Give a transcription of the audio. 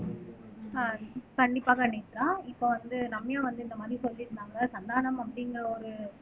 ஆஹ் கண்டிப்பாக நேத்ரா இப்போ வந்து ரம்யா வந்து இந்த மாதிரி சொல்லியிருந்தாங்க சந்தானம் அப்படிங்கிற ஒரு